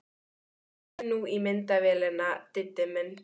Náðu nú í myndavélina, Diddi minn!